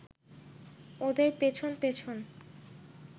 ওদের পেছন পেছন